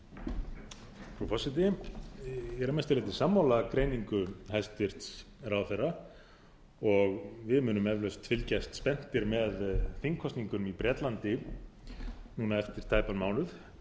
frú forseti ég er að mestu leyti sammála greiningu hæstvirtur ráðherra og við munum eflaust fylgjast spenntir með þingkosningunum í bretlandi núna eftir tæpan mánuð